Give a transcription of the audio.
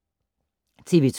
TV 2